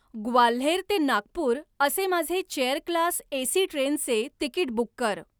ग्वाल्हेर ते नागपूर असे माझे चेअर क्लास ए. सी. ट्रेनचे तिकीट बुक कर